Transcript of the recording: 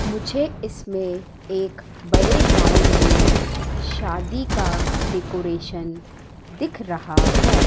मुझे इसमें एक बड़े ग्राउंड में शादी का डेकोरेशन दिख रहा है।